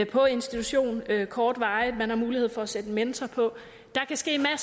på institution kortvarigt og man har mulighed for at sætte en mentor på der kan ske